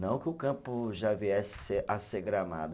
Não que o campo já viesse ser, a ser gramado.